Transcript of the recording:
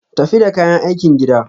Tafi da kayan aikin gida.